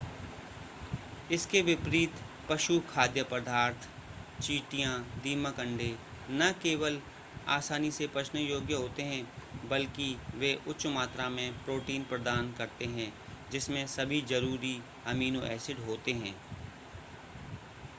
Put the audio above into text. इसके विपरीत पशु खाद्य पदार्थ चींटियाँ दीमक अंडे न केवल आसानी से पचने योग्य होते हैं बल्कि वे उच्च मात्रा में प्रोटीन प्रदान करते हैं जिसमें सभी ज़रूरी अमीनो एसिड होते हैं